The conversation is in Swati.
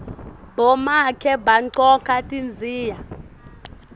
bomake bagcoka tidziya